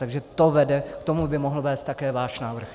Takže to vede, k tomu by mohl vést také váš návrh.